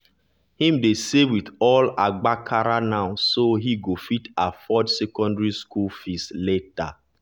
him dey save with all agbakara now so he go fit afford secondary school fees later.